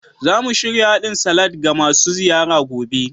Za mu shirya hadin salad ga masu ziyara gobe.